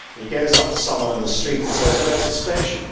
He goes up to someone in the street and says, Where is the station?'